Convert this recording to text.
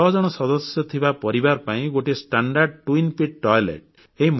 ଛଅଜଣ ସଦସ୍ୟ ଥିବା ପରିବାର ପାଇଁ ଗୋଟିଏ ସ୍ବାଭାବିକ ଦୁଇ ଟାଙ୍କି ବିଶିଷ୍ଟ ପାଇଖାନା